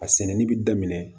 A sɛnɛni bi daminɛ